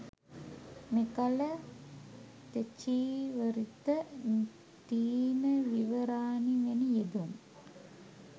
මෙකල තෙචීවරිත, තීන විවරානි වැනි යෙදුම්